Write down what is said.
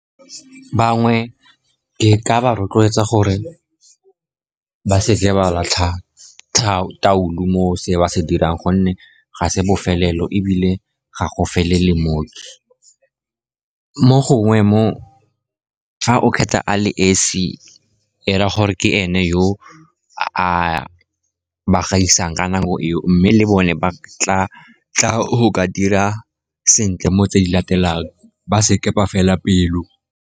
Bangwe ke ka ba rotloetsa gore ba seke ba latlha toulo mo se ba se dirang, gonne ga se bofelelo ebile ga go felele moo. Mo gongwe fa o kgetha a le esi, e raya gore ke ene yo a ba gaisang ka nako eo, mme le bone ba tla go ka dira sentle mo tse di latelang. Ba seke ba fela pelo.